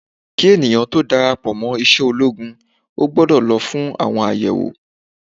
Kí ènìyàn tó dára pò mo iṣẹ́ ológun o gbọ́dọ̀ lọ fún àwọn àyẹ̀wò.